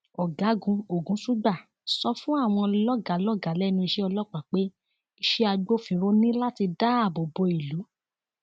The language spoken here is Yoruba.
ọgágun ogunṣugbà sọ fún àwọn lọgàá lọgàá lẹnu iṣẹ ọlọpàá pé iṣẹ agbófinró ní láti dáàbò bo ìlú